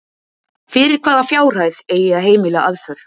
Fyrir hvaða fjárhæð eigi að heimila aðför?